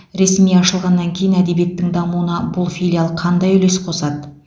ресми ашылғаннан кейін әдебиеттің дамуына бұл филиал қандай үлес қосады